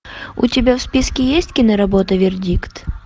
у тебя в списке есть киноработа вердикт